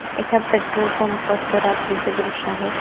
एका petrol pump वरचा रात्रीचं दृश्य आहै.